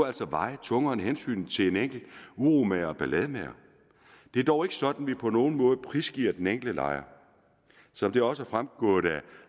veje tungere end hensynet til en enkelt uromager og ballademager det er dog ikke sådan at vi på nogen måde prisgiver den enkelte lejer som det også er fremgået af